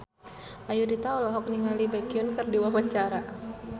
Ayudhita olohok ningali Baekhyun keur diwawancara